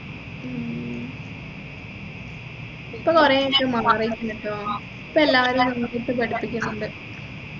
ഉം ഇപ്പൊ കുറെ ആയിട്ട് മാറിയിട്ടുണ്ടല്ലോ ഇപ്പൊ എല്ലാരും നന്നായിട്ട് പഠിപ്പിക്കുണ്ട്